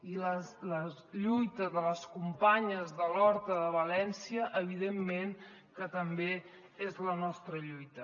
i la lluita de les companyes de l’horta de valència evidentment que també és la nostra lluita